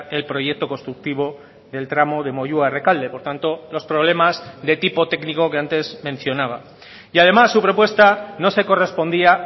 el proyecto constructivo del tramo de moyua rekalde por tanto los problemas de tipo técnico que antes mencionaba y además su propuesta no se correspondía